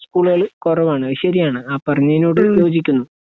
സ്കൂളുകളിൽ കൊറവാണ് ശരിയാണ് ആ പറഞ്ഞയിഞ്ഞോട് യോജിക്കുന്നു